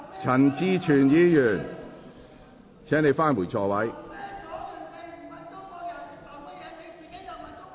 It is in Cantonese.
陳志全議員，請返回座位。